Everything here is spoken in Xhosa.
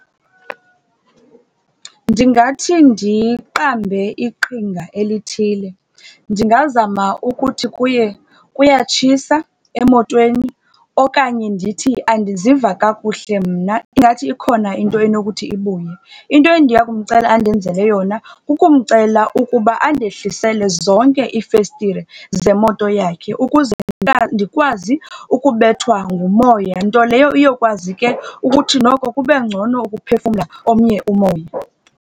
Ndingathi ndiqambe iqhinga elithile. Ndingazama ukuthi kuye kuyatshisa emotweni okanye ndithi andiziva kakuhle mna, ingathi ikhona into enokuthi ibuye. Into endiya kumcela andenzele yona kukumcela ukuba andehlisele zonke iifestile zemoto yakhe ukuze ndikwazi ukubethwa ngumoya, nto leyo iyokwazi ke ukuthi kube ngcono ukuphefumla omnye umoya.